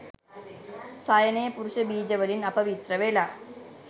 සයනය පුරුෂ බීජ වලින් අපවිත්‍ර වෙලා